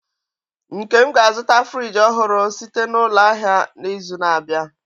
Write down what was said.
Nkem ga-azụta frijii ọhụrụ site na n'ulo ahịa n'izu na-abịa.